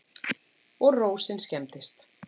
Og rósin skemmdist.